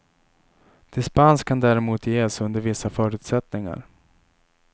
Dispens kan däremot ges under vissa förutsättningar.